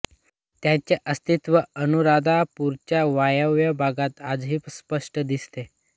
त्यांचे अस्तित्व अनुराधापूरच्या वायव्य भागात आजही स्पष्ट दिसते